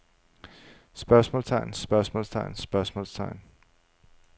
spørgsmålstegn spørgsmålstegn spørgsmålstegn